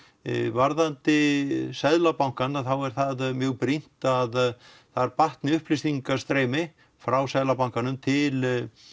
varðandi Seðlabankann þá er það mjög brýnt að þar batni upplýsingastreymi frá Seðlabankanum til